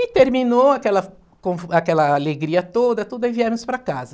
E terminou aquela com aquela alegria toda, tudo, aí viemos para casa.